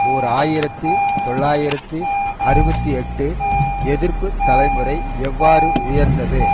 ஓர் ஆயிரத்தி தொள்ளாயிரத்தி அறுபத்தி எட்டு எதிர்ப்பு தலைமுறை எவ்வாறு உயர்ந்தது